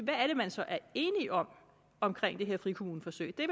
er det man så er enige om omkring det her frikommuneforsøg det